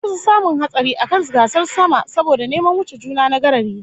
An kusa samun hatsari a kan gasar sama saboda neman wuce juna na garari